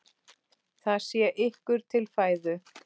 Það sé ykkur til fæðu.